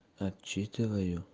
отчитываю